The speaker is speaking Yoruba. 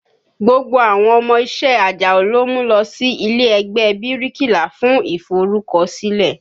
Gbogbo àwọn ọmọ iṣẹ́ Àjàó ló mú lọ sí ilé ẹgbẹ́ ẹ bíríkìlà fún iforukosile